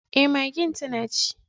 Eh magen tana ci.